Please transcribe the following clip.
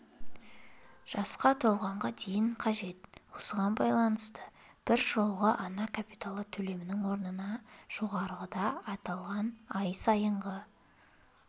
жасқа толғанға дейін қажет осыған байланысты біржолғы ана капиталы төлемінің орнына жоғарыда аталған ай сайынғы